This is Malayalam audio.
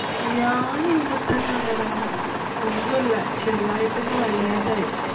ഞാന്‍ ഇവിടെ തന്നെ ഒണ്ടെടാ. ഒന്നൂല്ല ചെറുതായിട്ട് ഒന്ന് വയ്യാതായി.